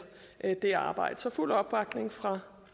det arbejde så fuld opbakning fra